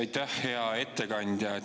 Aitäh, hea ettekandja!